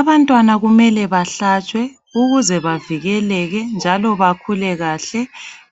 Abantwana kumele bahlatshwe ukuze bavikeleke njalo bakhule kahle.